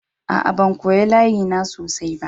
Aa, ban koya layi na sosai ba.